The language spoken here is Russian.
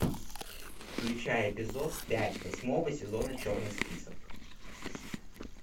включай эпизод пять восьмого сезона черный список